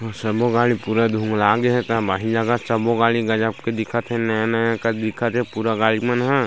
संबु गाड़ी पूरा धूमला गेयल गाड़ी गज़ब के दिखत हे नया नया दिखत हे पूरा गाड़ी मन हे।